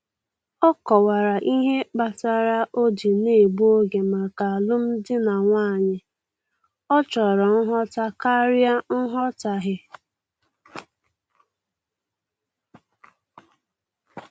Ọ kọwara ihe kpatara o ji na-egbu oge maka alụm di na nwanyị, ọ chọrọ nghọta karịa nghọtahie